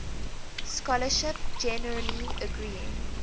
scholarship generally agreeing